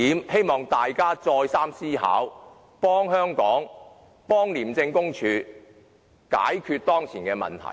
希望大家再三思考這一點，幫助香港及廉署解決當前的問題。